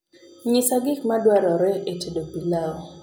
nyisa gik maduarore e tedo pilau